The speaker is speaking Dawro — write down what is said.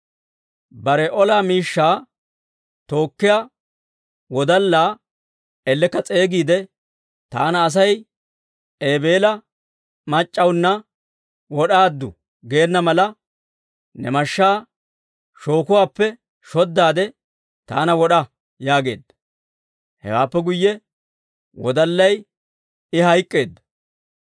Bare ola miishshaa tookkiyaa wodallaa ellekka s'eegiide, «Taana asay, ‹Ebela mac'c'awunna wod'aaddu› geenna mala, ne mashshaa shookuwaappe shoddaade, taana wod'a» yaageedda. Hewaappe guyye wodallay mashshaan c'addina I hayk'k'eedda.